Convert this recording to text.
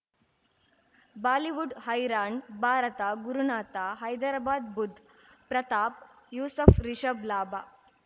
Bollywood ಹೈರಾಣ್ ಭಾರತ ಗುರುನಾಥ ಹೈದರಾಬಾದ್ ಬುಧ್ ಪ್ರತಾಪ್ ಯೂಸಫ್ ರಿಷಬ್ ಲಾಭ